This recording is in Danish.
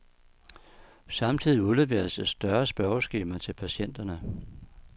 Samtidig udleveres et større spørgeskema til patienterne.